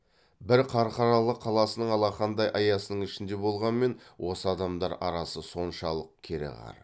бір қарқаралы қаласының алақандай аясының ішінде болғанмен осы адамдар арасы соншалық кереқар